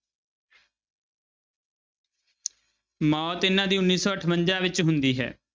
ਮੌਤ ਇਹਨਾਂ ਦੀ ਉੱਨੀ ਸੌ ਅਠਵੰਜਾ ਵਿੱਚ ਹੁੰਦੀ ਹੈ